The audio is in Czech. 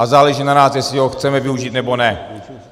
A záleží na nás, jestli ho chceme využít, nebo ne.